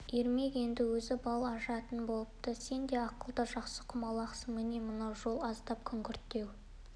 ермек енді өзі бал ашатын болыпты сен де ақылды жақсы құмалақсың міне мынау жол аздап күңгірттеу